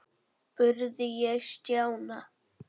spurði ég Stjána.